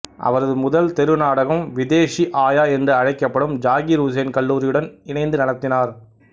அவரது முதல் தெரு நாடகம் விதேஷி ஆயா என்று அழைக்கப்படும் ஜாகிர் ஹுசைன் கல்லூரியுடன் இணைந்து நடத்தினார்